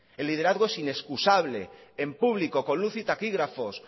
el liderazgo es inexcusable en público con luz y taquígrafos